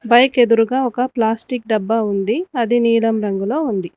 పైకి ఎదురుగా ఒక ప్లాస్టిక్ డబ్బా ఉంది అది నీలం రంగులో ఉంది.